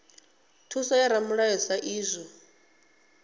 thuso ya ramulayo sa idzwo